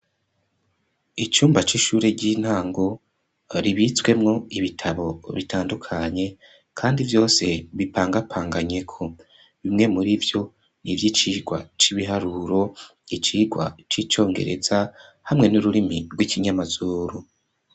Icumba c'ishure, ry'intango, ribitswemwo ibitabo, bitandukanye, kandi vyose bipangapanganyeko; bimwe muri vyo, ni ivy'icigwa c'ibiharuro, icigwa c'icongereza, hamwe n'ururimi, rw'ikinyamazuru.